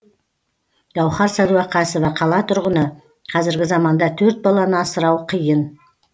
гауһар сәдуақасова қала тұрғыны қазіргі заманда төрт баланы асырау қиын